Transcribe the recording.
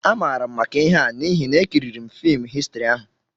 Amaara m maka ihe a n'ihi na ekiriri m fim Histrị ahụ